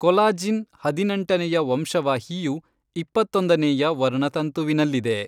Collagen ಹದಿನೆಂಟನೆಯ ವಂಶವಾಹಿಯು, ಇಪ್ಪತ್ತೊಂದನೇಯ ವರ್ಣತಂತುವಿನಲ್ಲಿದೆ.